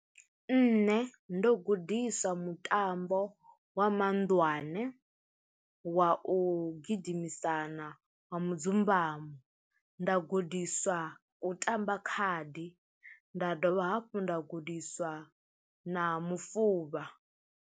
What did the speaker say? Nṋe ndo gudisa mutambo wa mahunḓwane, wa u gidimisana wa mudzumbamo, nda gudiswa u tamba khadi nda dovha hafhu nda gudiswa na mufuvha.